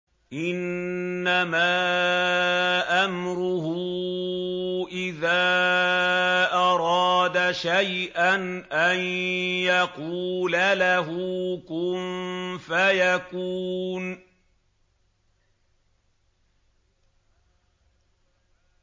إِنَّمَا أَمْرُهُ إِذَا أَرَادَ شَيْئًا أَن يَقُولَ لَهُ كُن فَيَكُونُ